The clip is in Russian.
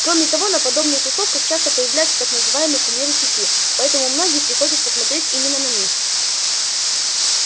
кроме того на подобных тусовках часто появляются так называемые кумиры сети поэтому многие приходят посмотреть именно на них